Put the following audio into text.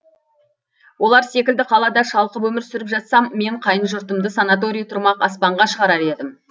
олар секілді қалада шалқып өмір сүріп жатсам мен қайын жұртымды санаторий тұрмақ аспанға шығарар едім